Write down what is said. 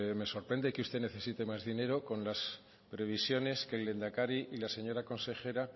me sorprende que usted necesite más dinero con las previsiones que el lehendakari y